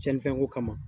Cɛnnifɛn ko kama